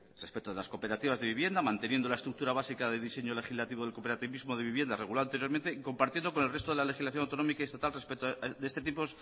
respecto de las cooperativas de vivienda manteniendo la estructura básica de diseño legislativo del cooperativismo de vivienda regulado anteriormente y compartiendo con el resto de la legislación autonómica y estatal respecto de este tipo